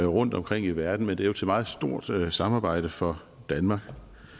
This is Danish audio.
rundtomkring i verden men det er jo et meget stort samarbejde for danmark